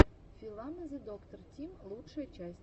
филама зэдоктор тим лучшая часть